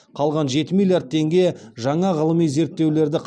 қалған жеті миллиард теңге жаңа ғылыми зерттеулерді